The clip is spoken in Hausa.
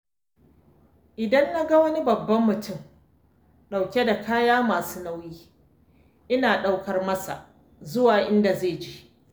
Idan na ga wani babban mutum ɗauke da kaya masu nauyi ina ɗaukar masa zuwa inda zai je.